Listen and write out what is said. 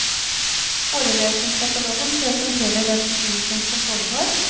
Forelesningskatalogen presenterer den undervisning som foregår.